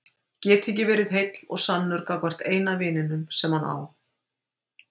Geta ekki verið heill og sannur gagnvart eina vininum sem hann á.